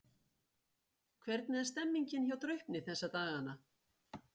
Hvernig er stemningin hjá Draupni þessa dagana?